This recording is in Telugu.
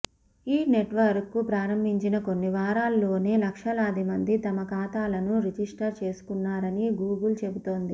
ఈ నెట్వర్క్ను ప్రారంభించిన కొన్ని వారాల్లోనే లక్షలాదిమంది తమ ఖాతాలను రిజిస్టర్ చేసుకున్నారని గూగుల్ చెబుతోంది